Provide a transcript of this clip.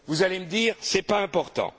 Vous allez me dire Ce n'est pas important.